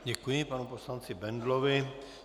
Děkuji panu poslanci Bendlovi.